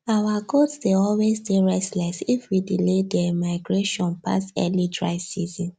our goats dey always dey restless if we delay there migration pass early dry season